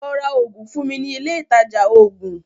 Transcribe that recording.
Lọ́ rá oògùn fún mi ní ilé Ilé ìtajà oògùn!